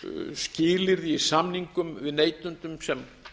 skilyrði í samningum við neytendur sem